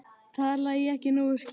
Talaði ég ekki nógu skýrt?